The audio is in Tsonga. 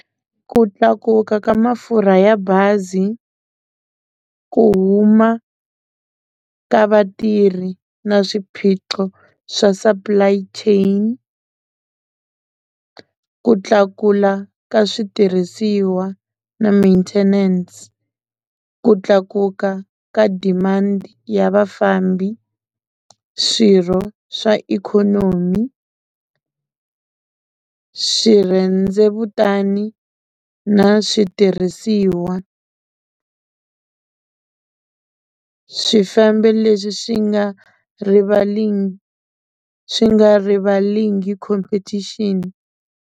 Ku tlakuka ka mafurha ya bazi, ku huma ka vatirhi na swiphiqo swa supply chain, ku tlakula ka switirhisiwa na maintenance, ku tlakuka ka demand ya vafambi, swirho swa ikhonomi, swirhendzevutana na switirhisiwa, swifambo leswi swi nga swi nga competition.